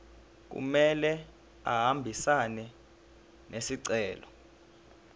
kumele ahambisane nesicelo